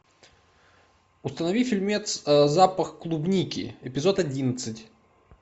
установи фильмец запах клубники эпизод одиннадцать